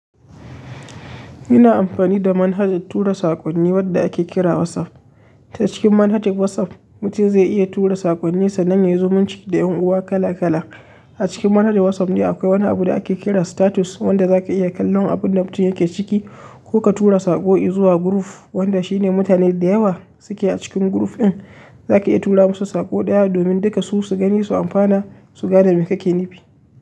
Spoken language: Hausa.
Ina amfani da manhajar tura saƙonni wadda ake kira WhatsApp. Ta cikin manhajar WhatsApp, mutum zai iya tura sakonninsa san ya yi zumunci da ƴan uwa kala kala. A cikin manhajar WhatsApp ne akwai wani abu da ake kira status, wanda za ka iya kallon abun da mutum yake ciki ko ka tura saƙo zuwa group, wanda shi ne mutane da yawa suke a cikin group ɗin. Za ka iya tura musu saƙo ɗaya domin duka su su gani su amfana, su ga da me kake nufi.